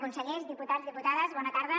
consellers diputats diputades bona tarda